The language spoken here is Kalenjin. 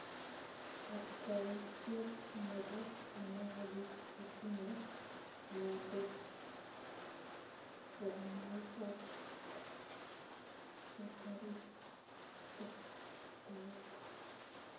Kapkwautiet neboo kenai biik chetinyee miandop soromaik ak kotarit tektaet